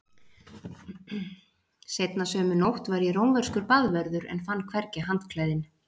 Seinna sömu nótt var ég rómverskur baðvörður en fann hvergi handklæðin.